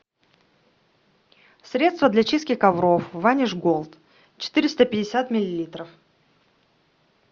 средство для чистки ковров ваниш голд четыреста пятьдесят миллилитров